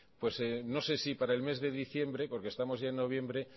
no sé si para el mes diciembre porque estamos ya en noviembre